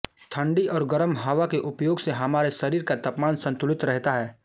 थण्डी और गरम हवा के उपयोग से हमारे शरीर का तापमान संतुलित रेहता है